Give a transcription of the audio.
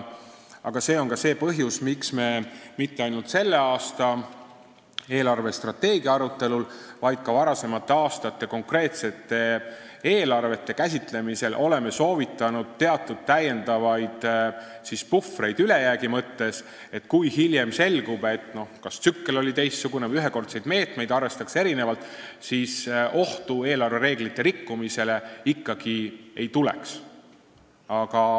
Aga see on ka see põhjus, miks me mitte ainult selle aasta eelarvestrateegia arutelul, vaid ka varasemate aastate konkreetsete eelarvete käsitlemisel oleme soovitanud teatud lisapuhvreid ülejäägi mõttes, nii et kui hiljem selgub, et kas tsükkel oli teistsugune või ühekordseid meetmeid arvestati erinevalt, siis eelarvereeglite rikkumise ohtu ikkagi ei tekiks.